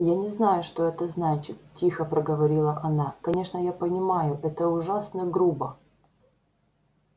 я не знаю что это значит тихо проговорила она конечно я понимаю это ужасно грубо